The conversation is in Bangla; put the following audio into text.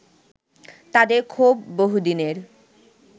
তাদের ক্ষোভ বহুদিনের